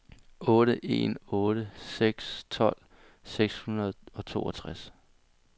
otte en otte seks tolv seks hundrede og toogtres